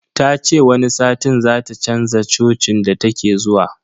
Ta ce wani satin zata chanza cocin da take zuwa.